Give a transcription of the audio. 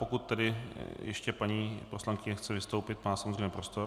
Pokud tedy ještě paní poslankyně chce vystoupit, má samozřejmě prostor.